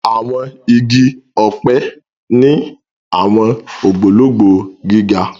Àwọn igi ọpẹ ni awọn ogbologbo gíga.